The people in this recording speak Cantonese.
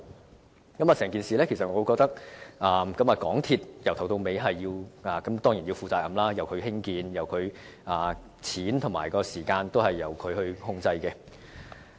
我認為，整件事由始至終當然是港鐵公司須要負責任，因為它負責興建，資金及時間都是由它控制。